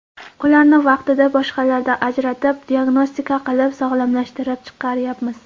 Ularni vaqtida boshqalardan ajratib, diagnostika qilib, sog‘lomlashtirib chiqaryapmiz.